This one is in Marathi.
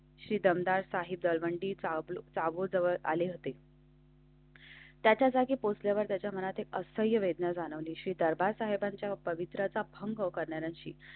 श्री दमदार साहिद लवंडीचा चागोदर आले होते. त्याच्या जागी पोस्टचल्यावर त्याच्या मनात असह्य वेदना जाणवलीशी श्री दरबार पावित्र्याचा भंग करणाराशी.